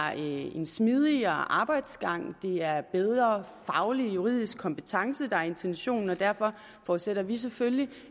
en smidigere arbejdsgang det er bedre faglig juridisk kompetence der er intentionen og derfor forudsætter vi selvfølgelig